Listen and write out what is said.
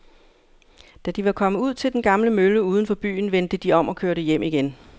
Da de var kommet ud til den gamle mølle uden for byen, vendte de om og kørte hjem igen.